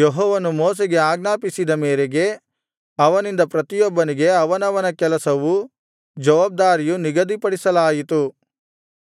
ಯೆಹೋವನು ಮೋಶೆಗೆ ಆಜ್ಞಾಪಿಸಿದ ಮೇರೆಗೆ ಅವನಿಂದ ಪ್ರತಿಯೊಬ್ಬನಿಗೆ ಅವನವನ ಕೆಲಸವೂ ಜವಾಬ್ದಾರಿಯೂ ನಿಗದಿಪಡಿಸಲಾಯಿತು